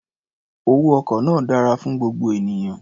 Owó ọkọ̀ náà dára fún gbogbo ènìyàn.